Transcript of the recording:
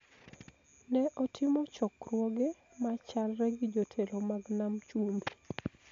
ne otimo chokruoge ma chalre gi jotelo mag Nam Chumbi.